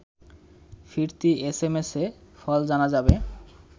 ফিরতি এসএমএসে ফল জানা যাবে